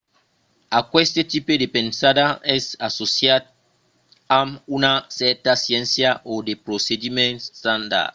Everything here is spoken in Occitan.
aqueste tipe de pensada es associat amb una cèrta sciéncia o de procediments estandards